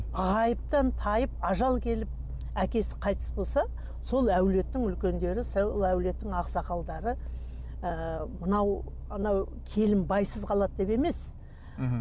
ғайыптан тайып ажал келіп әкесі қайтыс болса сол әулеттің үлкендері сол әулеттің ақсақалдары ы мынау мынау келін байсыз қалады деп емес мхм